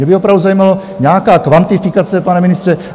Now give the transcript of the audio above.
Mě by opravdu zajímala nějaká kvantifikace, pane ministře .